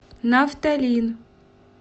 нафталин